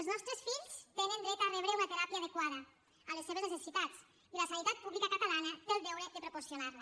els nostres fills tenen dret a rebre una teràpia adequada a les seves necessitats i la sanitat pública catalana té el deure de proporcionar la